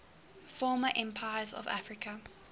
former empires of africa